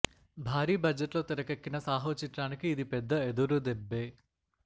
భారీ బడ్జెట్ లో తెరకెక్కిన సాహో చిత్రానికి ఇది పెద్ద ఎదురుదెబ్బే